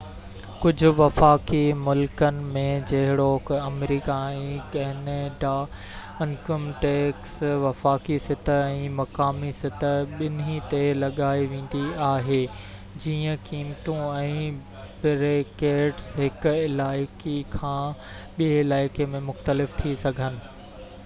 ڪجهه وفاقي ملڪن ۾ جهڙوڪ آمريڪا ۽ ڪئناڊا انڪم ٽيڪس وفاقي سطح ۽ مقامي سطح ٻنهي تي لڳائي ويندي آهي جيئن قيمتون ۽ بريڪيٽس هڪ علائقي کان ٻئي علائي ۾ مختلف ٿي سگهن